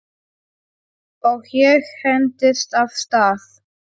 Og ég hentist af stað.